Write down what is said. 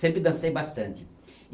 Sempre dancei bastante.